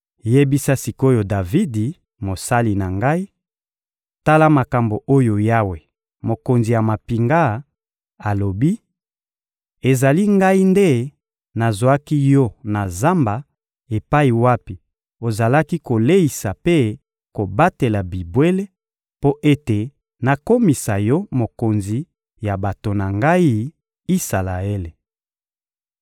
Yebisa sik’oyo Davidi, mosali na Ngai: ‹Tala makambo oyo Yawe, Mokonzi ya mampinga, alobi: Ezali Ngai nde nazwaki yo na zamba epai wapi ozalaki koleisa mpe kobatela bibwele, mpo ete nakomisa yo mokonzi ya bato na Ngai, Isalaele.